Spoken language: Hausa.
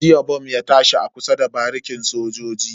Jiya bom ya tashi a kusa da barikin sojoji.